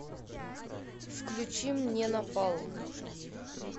включи мне напалм